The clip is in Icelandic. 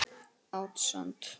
Át sand.